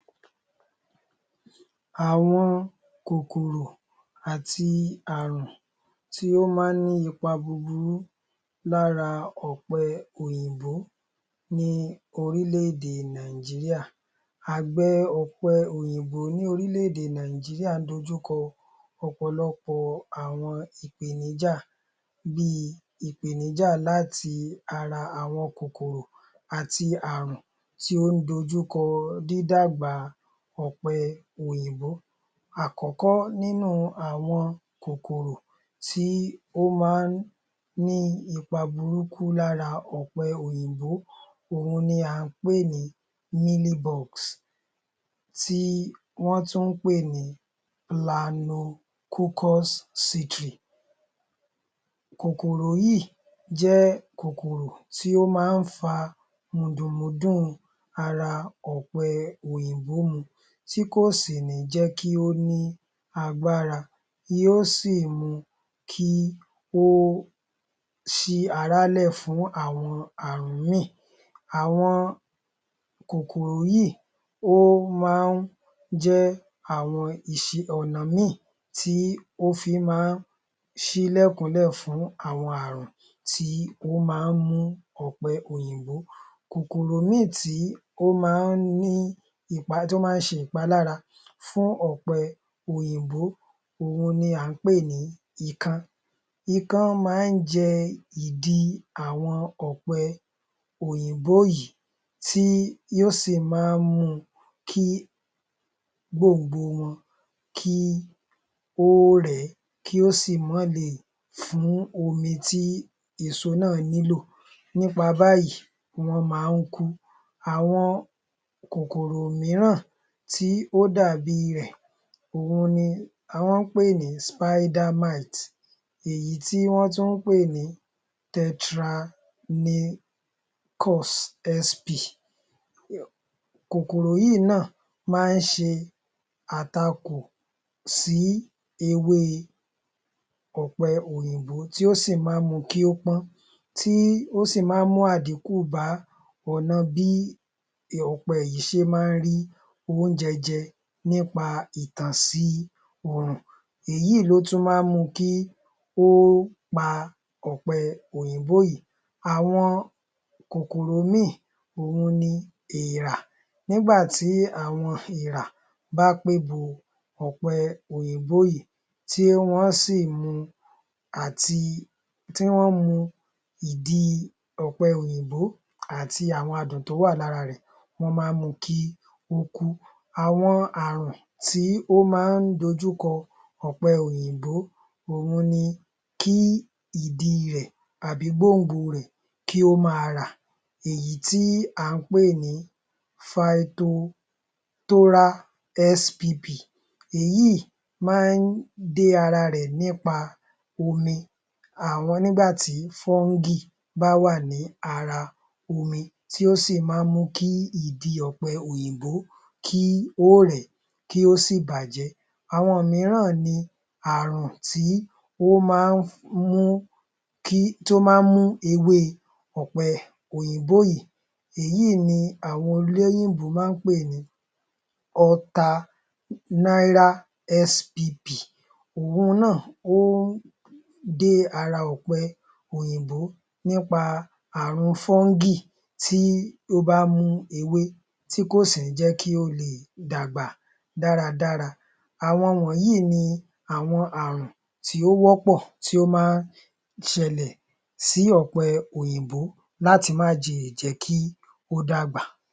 Àwọn kòkòrò àti àrùn tí ó má ń ní ipa búburú lára ọ̀pẹ òyìnbó ni orílẹ̀-èdè Nàìjíríà. Àgbè ọ̀pẹ òyìnbó ní orílẹ̀ -èdè Nàìjíríà ń dojúkọ ọ̀pọ̀lọpọ̀ àwọn ìpèníjà, bíi ìpèníjà láti ara àwọn kòkòrò ati àrùn tí ó ń dojúkọ dídàgbà ọ̀pẹ òyìnbó. Àkọ́kọ́ nínú àwọn kòkòrò tí ó má ń ní ipa burúkú lára ọ̀pẹ òyìnbó, òhun ni à ń pè ní [Mealybugs] tí wọ́n tún pè ní [Planococcus citri]. Kòkòrò yí jẹ́ kòkòrò tí ó má ń fa mùndùnmúndùn ara ọ̀pẹ òyìnbó mu tí kò sì ní jẹ́ kí ó ní agbára, yóò sì mu kí ó ṣí ara lẹ̀ fún àwọn àrùn ìmíì. Àwọn kòkòrò yí ó ma ń jẹ́ àwọn ọ̀nà míràn tí ó fi ma ń ṣílẹ̀kùn lẹ̀ fún àwọn àrùn tí ó ma ń mú ọ̀pẹ òyìnbó. Kòkòrò míràn tí ó ma ń ṣe ìpalára fún ọ̀pẹ òyìnbó, òhun ni à ń pè ní ikán. Ikán ma ń jẹ ìdí àwọn ọ̀pẹ òyìnbó yìí tí ó sì ma ń mú kí ó rẹ gbọ̀ngbò wọn kí ó sì má le è fún omi tí èso náà nílò, nípa báyìí wọ́n ma ń kú. Àwọn kòkòrò míràn tí ó dàbíi rẹ̀, òhun ni wọ̀n pè ní [Spider mite] èyí tí wọ́n tún pè ní [Tetranychus SP]. Kòkòrò yí náà má ń ṣe àtakò sí ewé ọ̀pẹ òyìnbó, tí ó sì má ń mu kí ó pọ́n, tí ó sì má ń mú àdíkù bá ọ̀nà bí ọ̀pẹ yìí ṣe má ń rí oúnjẹ jẹ nípa ìtànsí òrùn, èyí ló tún ma ń mu kí ó pa ọ̀pẹ òyìnbó yìí. Àwọn kòkòrò ìmíì òhun ni èèrà, nígbà tí àwọn èèrà bá pé bo àwọn ọ̀pẹ òyìnbó yìí tí wọ́n mu ìdí ọ̀pẹ òyìnbó àti àwọn adùn tó wà lára rẹ̀, wọ́n má ń mu kí ó kú. Àwọn àruǹ tí ó má ń dojúkọ ọ̀pẹ òyìnbó, òhun ni kí ìdí rẹ̀ tàbí gbòngbò rẹ̀ kí ó ma rà, èyí tí à ń pè ní [Phytophthora SPP]. Èyí má ń dé ara rẹ̀ nípa àwọn omi, nígbà tí fọ́ngì bá wà ní ara omi tí ó sì má ń mú kí ìdí ọ̀pẹ òyìnbó kí ó rẹ̀ ẹ́, kí ó sì bàjẹ́. Àwọn míràn ni àrùn tí ó ma ń mú ewé ọ̀pẹ òyìnbó yii. Èyí ni àwọn olóyìnbó ń pè ní [Alternaria SPP] òhun náà ń dé ara ọ̀pẹ òyìnbó nípa àrùn fọ́ngì tí ó bá mú ewé tí kò sì ní jẹ́ kí ó lè dàgbà dáradára. Àwọn wọ̀nyí ni àwọn àrùn tí ó wọ́pọ̀ tí ó ma ń ṣẹlẹ̀ sí ọ̀pẹ òyìnbó láti má le è jẹ́ kí ó dàgbà.